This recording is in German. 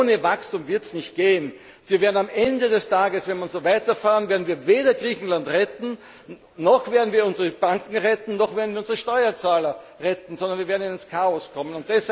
Aber ohne Wachstum wird es nicht gehen. Wir werden am Ende des Tages, wenn wir weiter so verfahren, weder Griechenland retten, noch werden wir unsere Banken retten, noch werden wir unsere Steuerzahler retten, sondern wir werden ins Chaos geraten.